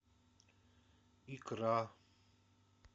икра